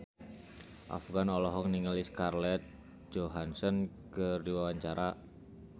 Afgan olohok ningali Scarlett Johansson keur diwawancara